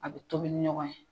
A bɛ tobi ni ɲɔgɔn ye.